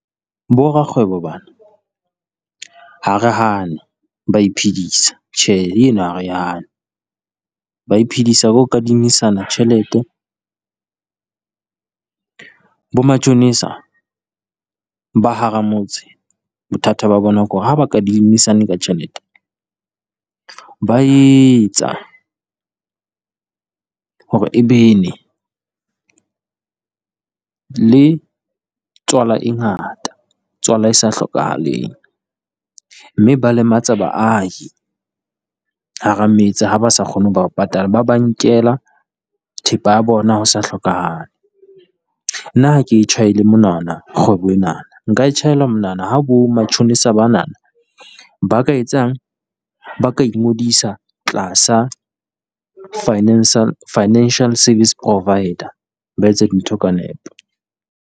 Bo rakgwebo bana, ha re hane ba iphedisa tjhe, e no ha re e hane ba iphedisa ho kadimisana tjhelete. Bo matjhonisa ba hara motse, bothata ba bona ke hore ha ba kadimisane ka tjhelete, ba etsa hore e bene le tswala e ngata tswala e sa hlokahaleng. Mme ba lematsa baahi hara metse ha ba sa kgone ho ba patala, ba ba nkela thepa ya bona ho sa hlokahale. Nna ha ke e tjhaelle monwana kgwebo enana, nka e tjhaellwa monwana ha bo matjhonisa bana ba ka etsang? Ba ka ingodisa tlasa Financial Financial Service Provider ba etsa dintho ka nepo.